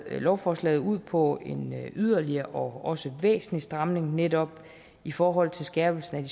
lovforslaget ud på en yderligere og også væsentlig stramning netop i forhold til skærpelsen